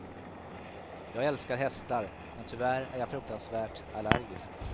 Jag älskar hästar, men tyvärr är jag fruktansvärt allergisk.